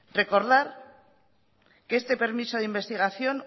recordar que este permiso de investigación